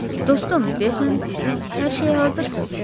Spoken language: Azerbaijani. Dostum, deyəsən siz hər şeyə hazırsız?